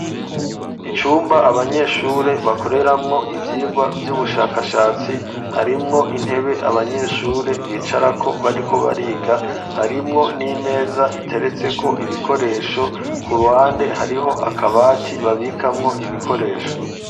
Icumba abanyeshure bakoreramwo ivyirwa vy'ubushakashatsi harimwo intebe abanyeshure bicara ko bariko bariga harimwo n'imeza iteretse ko ibikoresho ku ruhande hariho akabati babikamwo ibikoresho.